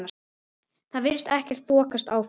Það virðist ekkert þokast áfram?